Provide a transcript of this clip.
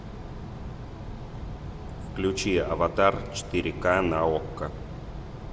включи аватар четыре ка на окко